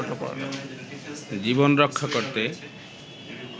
জীবন রক্ষা করতে